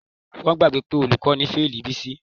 Wọ́n gbàgbọ́ pé olùkọ́ ni ó fálì Bísí.